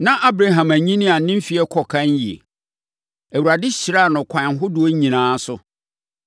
Na Abraham anyini a ne mfeɛ kɔ ɛkan yie. Awurade hyiraa no akwan ahodoɔ nyinaa so.